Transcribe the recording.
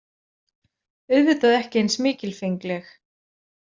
Auðvitað ekki eins mikilfengleg.